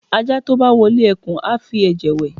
aja to bá wọle ekun, a fí eje wè